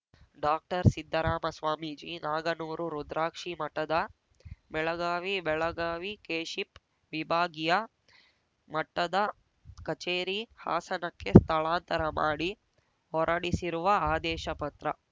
ಡಾಕ್ಟರ್ಸಿದ್ಧರಾಮ Swamiji Naganur ರುದ್ರಾಕ್ಷಿಮಠದ Belagavi Belagavi KSHIP ವಿಭಾಗೀಯ ಮಟ್ಟದ ಕಚೇರಿ ಹಾಸನಕ್ಕೆ ಸ್ಥಳಾಂತರ ಮಾಡಿ ಹೊರಡಿಸಿರುವ ಆದೇಶ ಪತ್ರ